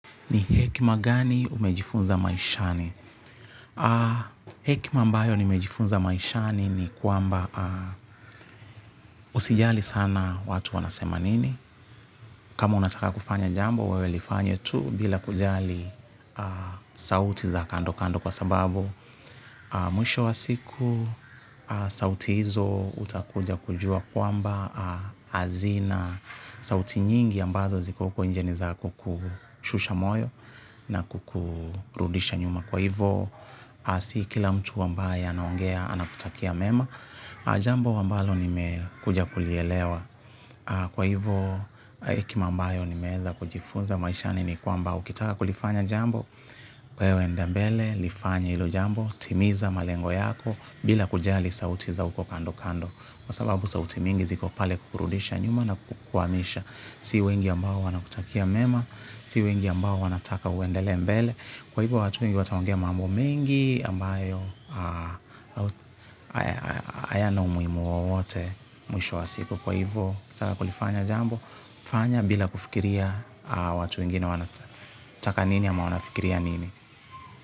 Ni hekima gani umejifunza maishani? Hekima ambayo nimejifunza maishani ni kwamba usijali sana watu wanasema nini. Kama unataka kufanya jambo, wewe lifanye tu bila kujali sauti za kando kando kwa sababu. Mwisho wa siku, sauti hizo hutakuja kujua kwamba hazina sauti nyingi ambazo ziko huko nje ni za kukushusha moyo na kukurudisha nyuma. Kwa hivyo, si kila mtu ambaye anongea anakutakia mema, jambo ambalo nimekuja kulielewa. Kwa hivo, hekima ambayo nimeweza kujifunza maishani ni kwamba ukitaka kulifanya jambo. Wewe enda mbele, lifanye hilo jambo, timiza malengo yako bila kujali sauti za huko kando kando. Kwa sababu sauti mingi ziko pale kukurudisha nyuma na kukuhamisha si wengi ambao wanakutakia mema, si wengi ambao wanataka uendelee mbele kwa hivyo watu wengi wataongea mambo mengi ambayo hayana umuhimu wowote mwisho wa siku kwa hivyo ukitaka kulifanya jambo, fanya bila kufikiria watu wengine wanataka nini ama wanafikiria nini.